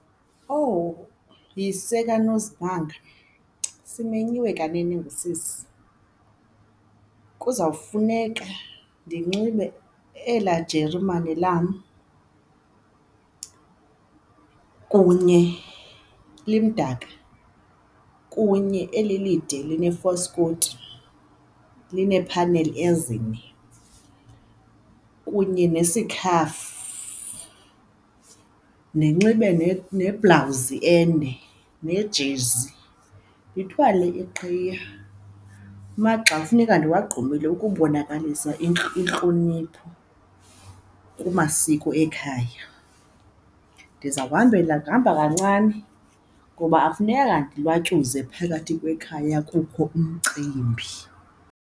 Owu! Yise kaNozimanga simenyiwe kanene ngusisi kuzawufuneka ndinxibe elaa jerumane lam kunye limdaka, kunye eli lide line faskoti linephaneli ezine kunye nesikhafu. Ndinxibe neblawuzi ende nejezi, ndithwale iqhiya amagxa kufuneka ndiwugqumile ukubonakalisa intlonipho kumasiko ekhaya. Ndiza kuhambela, kuhamba kancane ngoba akufunekanga ndilwatyuze phakathi kwekhaya kukho umcimbi.